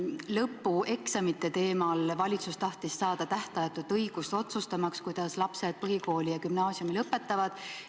Lõpueksamite teemal tahtis valitsus saada tähtajatut õigust otsustamaks, kuidas lapsed põhikooli ja gümnaasiumi lõpetavad.